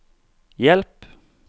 hjelp